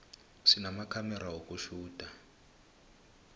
sinamakhamera wokutjhuda